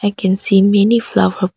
I can see many flower --